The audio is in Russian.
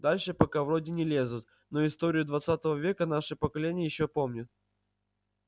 дальше пока вроде не лезут но историю двадцатого века наше поколение ещё помнит